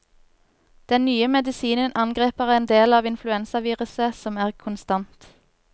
Den nye medisinen angriper en del av influensaviruset som er konstant.